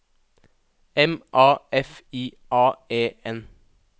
M A F I A E N